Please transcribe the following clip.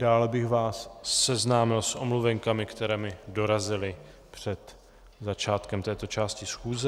Dále bych vás seznámil s omluvenkami, které mi dorazily před začátkem této části schůze.